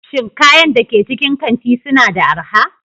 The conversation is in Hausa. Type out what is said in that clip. Shin kayan da ke cikin kanti suna da arha?